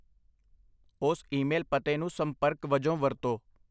ਉਸ ਈਮੇਲ ਪਤੇ ਨੂੰ ਸੰਪਰਕ ਵਜੋਂ ਵਰਤੋ।